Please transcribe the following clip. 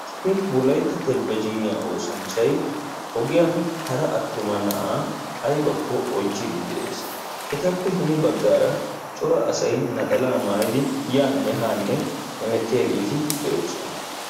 Issi wolaytta televezhniya oosanchchay ogiyan hara attuma naa'a aybako oychchidi de'ees. Etape hini baggara cora asaay naxala maayidi yane ha heemettiyagetti de'osona.